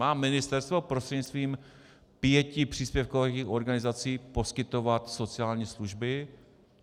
Má ministerstvo prostřednictvím pěti příspěvkových organizací poskytovat sociální služby?